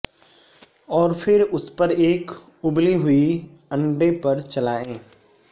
اور پھر اس پر ایک ابلی ہوئی انڈے پر چلائیں